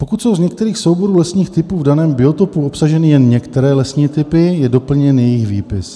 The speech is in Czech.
Pokud jsou z některého souboru lesních typů v daném biotopu obsaženy jen některé lesní typy, je doplněn jejich výpis.